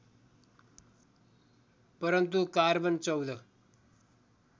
परन्तु कार्बन १४